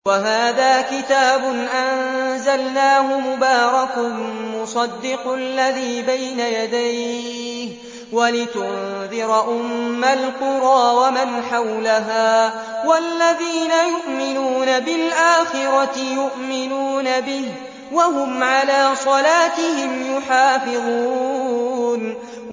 وَهَٰذَا كِتَابٌ أَنزَلْنَاهُ مُبَارَكٌ مُّصَدِّقُ الَّذِي بَيْنَ يَدَيْهِ وَلِتُنذِرَ أُمَّ الْقُرَىٰ وَمَنْ حَوْلَهَا ۚ وَالَّذِينَ يُؤْمِنُونَ بِالْآخِرَةِ يُؤْمِنُونَ بِهِ ۖ وَهُمْ عَلَىٰ صَلَاتِهِمْ يُحَافِظُونَ